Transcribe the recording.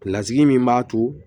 Lasigi min b'a to